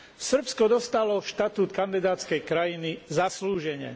Srbsko dostalo štatút kandidátskej krajiny zaslúžene.